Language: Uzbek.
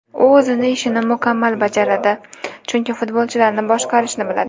U o‘z ishini mukammal bajaradi, chunki futbolchilarni boshqarishni biladi.